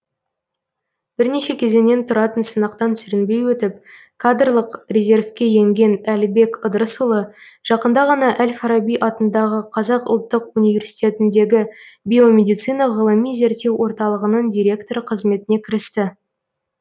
бірнеше кезеңнен тұратын сынақтан сүрінбей өтіп кадрлық резервке енген әлібек ыдырысұлы жақында ғана әл фараби атындағы қазақ ұлттық университетіндегі биомедицина ғылыми зерттеу орталығының директоры қызметіне кірісті